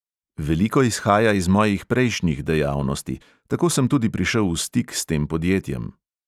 Veliko izhaja iz mojih prejšnjih dejavnosti, tako sem tudi prišel v stik s tem podjetjem.